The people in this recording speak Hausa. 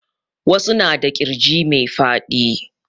Wasu na da ƙirji mai faɗi